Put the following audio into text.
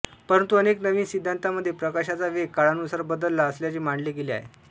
परंतु अनेक नवीन सिद्धांतांमध्ये प्रकाशाचा वेग काळानुसार बदलला असल्याचे मांडले गेले आहे